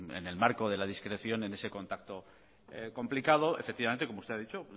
en el marco de la discreción en ese contacto complicado efectivamente como usted ha dicho